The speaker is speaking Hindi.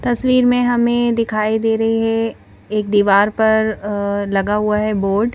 तस्वीर में हमें दिखाई दे रही है एक दीवार पर अअ लगा हुआ है बोर्ड --